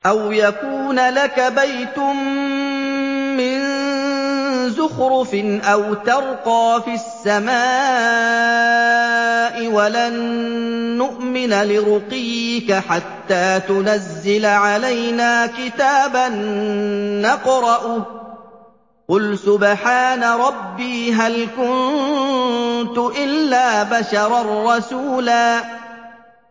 أَوْ يَكُونَ لَكَ بَيْتٌ مِّن زُخْرُفٍ أَوْ تَرْقَىٰ فِي السَّمَاءِ وَلَن نُّؤْمِنَ لِرُقِيِّكَ حَتَّىٰ تُنَزِّلَ عَلَيْنَا كِتَابًا نَّقْرَؤُهُ ۗ قُلْ سُبْحَانَ رَبِّي هَلْ كُنتُ إِلَّا بَشَرًا رَّسُولًا